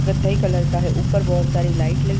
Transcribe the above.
कथई कलर का है ऊपर बहुत सारी लाइट लगी --